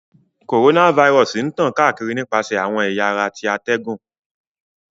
Coronavirus ń tan kaakiri nipasẹ awọn ẹ̀ya ara ti atẹgun.